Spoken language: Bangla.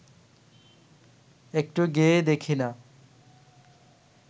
একটু গেয়েই দেখি না